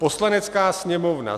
Poslanecká sněmovna